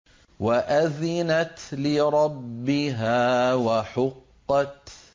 وَأَذِنَتْ لِرَبِّهَا وَحُقَّتْ